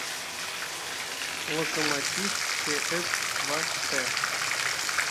локомотив чс два т